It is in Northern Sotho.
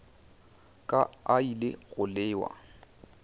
ka a ile go lewa